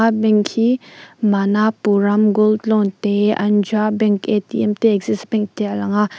bank hi manapuram gold loan te andra bank atm te axis bank te a lang a.